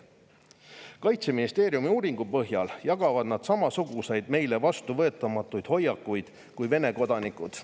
Kaitseministeeriumi uuringu põhjal jagavad nad samasuguseid meile vastuvõetamatuid hoiakuid kui Vene kodanikud.